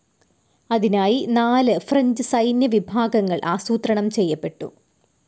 അതിനായി നാല് ഫ്രഞ്ച്‌ സൈന്യ വിഭാഗങ്ങൾ ആസൂത്രണം ചെയ്യപ്പെട്ടു.